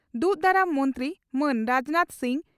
ᱫᱩᱜᱽ ᱫᱟᱨᱟᱢ ᱢᱚᱱᱛᱨᱤ ᱢᱟᱱ ᱨᱟᱡᱽᱱᱟᱛᱷ ᱥᱤᱝ